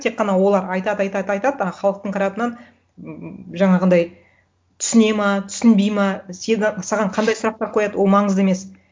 тек қана олар айтады айтады айтады а халықтың тарапынан ммм жаңағындай түсінеді ме түсінбейді ме сені саған қандай сұрақтар қояды ол маңызды емес